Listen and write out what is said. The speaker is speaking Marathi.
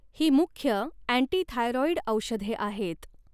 ही मुख्य अँटीथायरॉईड औषधे आहेत.